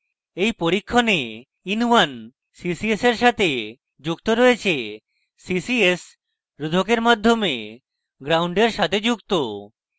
in পরীক্ষণেin1 ccs in সাথে যুক্ত রয়েছে ccs রোধকের মাধ্যমে গ্রাউন্ডের সাথে যুক্ত